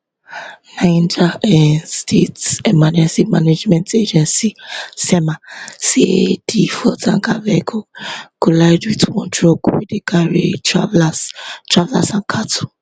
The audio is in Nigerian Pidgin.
niger um state emergency management agency nsema say di fuel tanker vehicle collide wit one truck wey dey carry travellers travellers and cattle